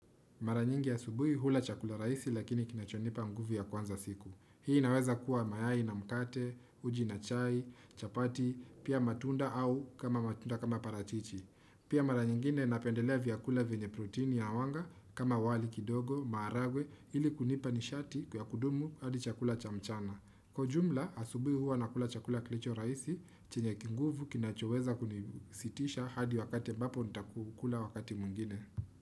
Mara nyingi asubuhi hula chakula rahisi lakini kinachonipa nguvu ya kuanza siku. Hii inaweza kuwa mayai na mkate, uji na chai, chapati, pia matunda au kama matunda kama parachichi Pia mara nyingine napendelea vyakula venye protini ya wanga kama wali kidogo, maharagwe, ili kunipa nishati kwa kudumu hadi chakula cha mchana. Kwa ujumla, asubuhi huwa nakula chakula kilicho rahisi, chenye kinguvu kinachoweza kunisitisha hadi wakati ambapo nitaku kula wakati mwingine.